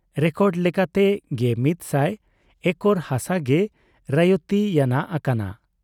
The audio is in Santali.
ᱨᱮᱠᱚᱨᱰ ᱞᱮᱠᱟᱛᱮ ᱑᱑᱐᱐ ᱮᱠᱚᱨ ᱦᱟᱥᱟ ᱜᱮ ᱨᱚᱭᱛᱤ ᱭᱟᱱᱟᱜ ᱟᱠᱟᱱᱟ ᱾